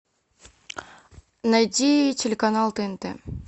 найди телеканал тнт